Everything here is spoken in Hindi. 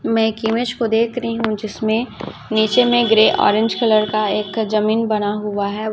मैं एक इमेज को देख रही हूं जिसमें नीचे में ग्रे ऑरेंज कलर का एक जमीन बना हुआ है।